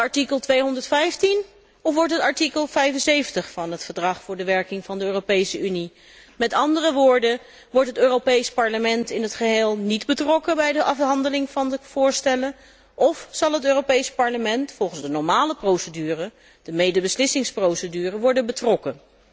Wordt het artikel 215 of wordt het artikel 75 van het Verdrag betreffende de werking van de Europese Unie, met andere woorden, wordt het Europees Parlement in het geheel niet betrokken bij de afhandeling van de voorstellen of zal het Europees Parlement, volgens de normale procedure, te weten de medebeslissingsprocedure, erbij worden betrokken.